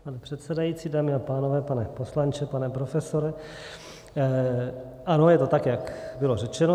Pane předsedající, dámy a pánové, pane poslanče, pane profesore, ano, je to tak, jak bylo řečeno.